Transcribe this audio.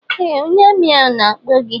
Ee ónyé armi ahụ na-akpọ gị.